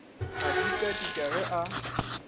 a dika dika ge a